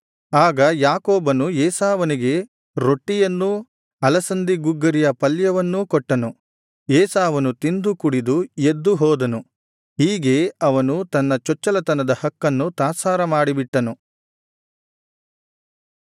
ಆಗ ಯಾಕೋಬನು ಏಸಾವನಿಗೆ ರೊಟ್ಟಿಯನ್ನೂ ಅಲಸಂದಿ ಗುಗ್ಗರಿಯ ಪಲ್ಯವನ್ನು ಕೊಟ್ಟನು ಏಸಾವನು ತಿಂದು ಕುಡಿದು ಎದ್ದು ಹೋದನು ಹೀಗೆ ಅವನು ತನ್ನ ಚೊಚ್ಚಲತನದ ಹಕ್ಕನ್ನು ತಾತ್ಸಾರ ಮಾಡಿ ಬಿಟ್ಟನು